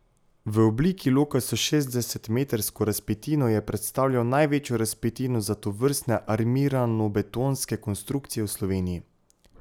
V obliki loka s šestdesetmetrsko razpetino je predstavljal največjo razpetino za tovrstne armiranobetonske konstrukcije v Sloveniji.